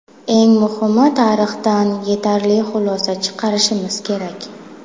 Eng muhimi, tarixdan yetarli xulosa chiqarishimiz kerak.